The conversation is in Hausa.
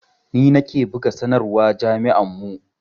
Ni nake buga sanarwa jami'ar mu